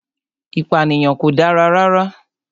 Ìpànìyàn kò dára rara